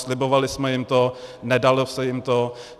Slibovali jsme jim to, nedalo se jim to.